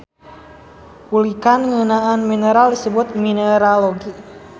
Ulikan ngeunaan mineral disebut mineralogi.